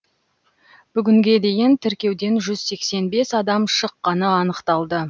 бүгінге дейін тіркеуден жүз сексен бес адам шыққаны анықталды